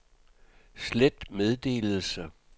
slet meddelelse